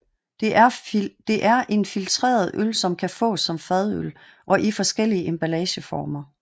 Det er en filtreret øl som kan fås som fadøl og i forskellige emballere former